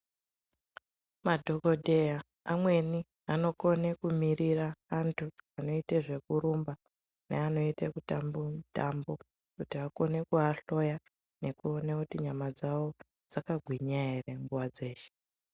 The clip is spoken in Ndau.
Madhokodheya amweni anokone kumirira antu anoite zvekurumba neanoite kutamba mutambo kuti akone kuahloya nekuona kuti nyama dzavo dzakagwinya ere nguwa dzeshe.